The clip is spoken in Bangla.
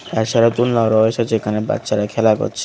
তার সাথে দুলনাও রয়েছে যেখানে বাচ্চারা খেলা করছে।